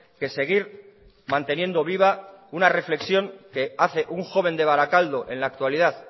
que seguir manteniendo viva una reflexión que hace un joven de barakaldo en la actualidad